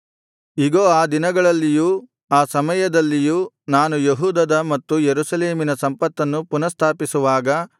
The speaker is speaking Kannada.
ಇಗೋ ಆ ದಿನಗಳಲ್ಲಿಯೂ ಆ ಸಮಯದಲ್ಲಿಯೂ ನಾನು ಯೆಹೂದದ ಮತ್ತು ಯೆರೂಸಲೇಮಿನ ಸಂಪತ್ತನ್ನು ಪುನಃಸ್ಥಾಪಿಸುವಾಗ